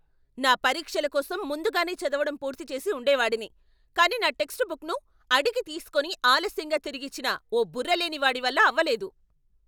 నా పరీక్షల కోసం ముందుగానే చదవడం పూర్తి చేసి ఉండేవాడిని, కానీ నా టెక్స్ట్ బుక్ను అడిగి తీసుకొని ఆలస్యంగా తిరిగిచ్చిన ఓ బుర్రలేని వాడి వల్ల అవ్వలేదు.